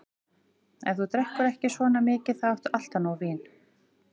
Ef þú drekkur ekki svona mikið, þá áttu alltaf nóg vín.